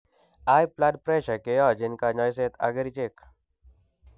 High blood pressure keyachin kanyaiset ak kerichek